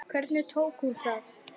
Hvernig tók hún í það?